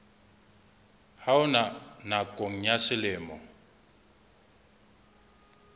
ha ona nakong ya selemo